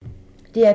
DR P3